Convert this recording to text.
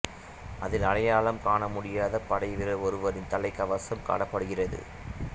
அதில் அடையாளம் காணமுடியாத படை வீரர் ஒருவரின் தலைக்கவசம் காணப்படுகிறது